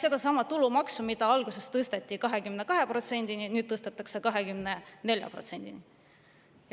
Sedasama tulumaksu, mis alguses tõsteti 22%‑ni ja nüüd tõstetakse 24%‑ni.